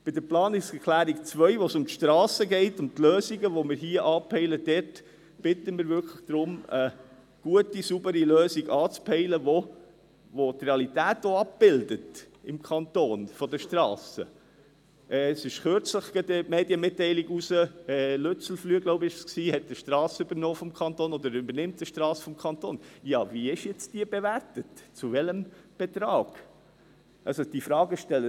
Bei der Planungserklärung 2, wo es um die Strassen geht und die Lösungen, die wir hier anpeilen, bitten wirklich darum, eine gute und saubere Lösung anzupeilen, welche die Realität der Strassen im Kanton auch abbildet.